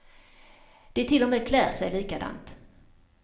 De till och med klär sig likadant.